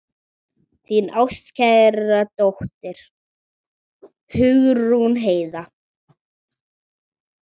Þín ástkæra dóttir, Hugrún Heiða.